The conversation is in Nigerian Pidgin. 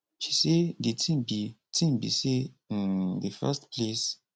she say di tin be tin be say um di first place